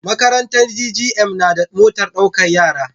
Makarantar GGM nada motar ɗaukar yara